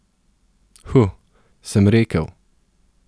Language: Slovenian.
Huh, sem rekel.